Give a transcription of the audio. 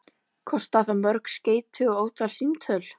Kostaði það mörg skeyti og ótalin símtöl.